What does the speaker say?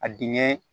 A dingɛ